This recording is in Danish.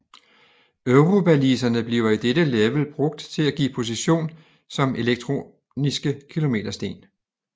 Eurobaliserne bliver i dette level brugt til at give position som Elektroniske kilometersten